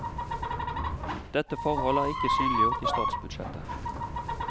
Dette forhold er ikke synliggjort i statsbudsjettet.